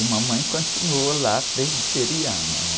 E mamãe continuou lá, presbiteriana, né?